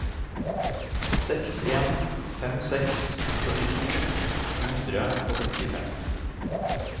seks en fem seks førtito to hundre og sekstifem